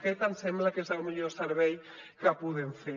aquest ens sembla que és el millor servei que podem fer